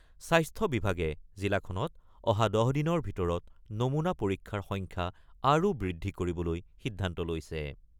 স্বাস্থ্য বিভাগে জিলাখনত অহা ১০ দিনৰ ভিতৰত নমুনা পৰীক্ষাৰ সংখ্যা আৰু বৃদ্ধি কৰিবলৈ সিদ্ধান্ত লৈছে।